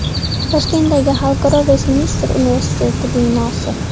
Toshkentdagi xalqaro Vestminster universiteti binosi.